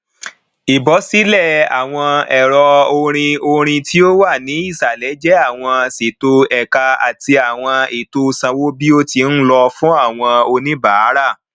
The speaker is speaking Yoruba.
ìbọsílẹ àwọn ẹro orin orin tí ó wà ní ìsàlẹ jẹ àwọn ṣètò ẹka àti àwọn ètò sanwóbíotíńlọ fún àwọn oníbàárà